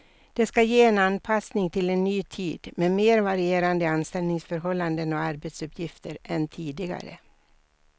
Det ska ge en anpassning till en ny tid med mer varierande anställningsförhållanden och arbetsuppgifter än tidigare.